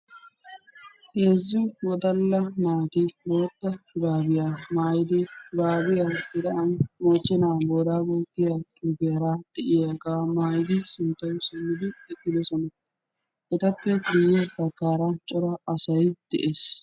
Heezzu wodala naati boottaa shurabiyaa maayidi shurabiyawu tiran mochchena borago giyaga maayidi sinttawu simmidi eqqidosona. Etappe guye baggaara cora asay de'ees.